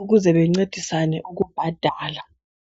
ukuze bencedisane ukubhadala